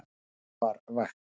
Engum var vægt.